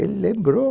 Ele lembrou.